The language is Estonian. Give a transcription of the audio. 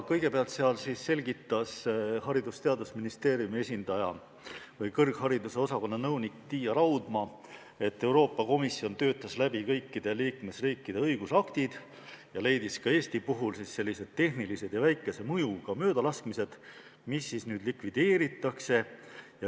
Kõigepealt selgitas Haridus- ja Teadusministeeriumi esindaja, kõrghariduse osakonna nõunik Tiia Raudma, et Euroopa Komisjon töötas läbi kõikide liikmesriikide õigusaktid ja leidis ka Eesti puhul tehnilise ja väikese mõjuga möödalaskmised, mis nüüd likvideeritakse.